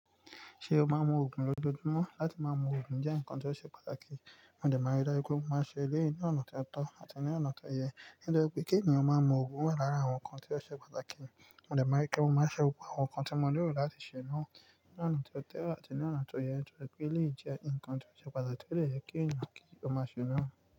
Ṣé o máa mu oògùn lójoojúmọ́? Láti máa mu oògùn jẹ́ nǹkan tó ṣe pàtàkì, mòdè mári dáju pe mo máa n ṣe eleyii lonà tó tọ́ àti ní lọ̀nà tó yẹ. Nítori pe kí ènìyàn máa mu oògùn wà lára àwọn nǹkan tó ṣe pàtàkì, mòdè mári pe mo máa nṣẹ́ gbogbo àwọn nǹkan tí mo nílò láti ṣe náà ní ọ̀nà tó tọ́ àti ní ọ̀nà tó yẹ. Ẹ́ pe líì jẹ́ nǹkan tó ṣe pàtàkì tó lè yẹ kí ènìyàn kí ó máa ṣe iná.